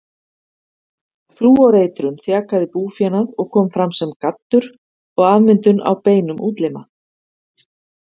Flúoreitrun þjakaði búfénað og kom fram sem gaddur og afmyndun á beinum útlima.